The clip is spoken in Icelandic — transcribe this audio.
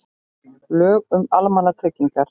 Lög um almannatryggingar.